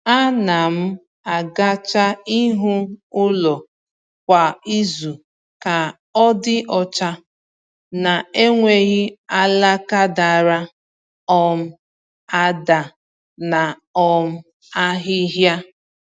A na m agacha ihu ụlọ kwa izu ka ọ dị ọcha, na-enweghị alaka dara um ada na um ahịhịa